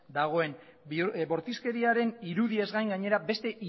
dagoen bortizkeriaren irudiez gain gainera beste